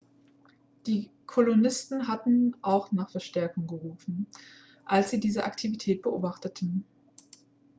die kolonisten hatten auch nach verstärkung gerufen als sie diese aktivität beobachteten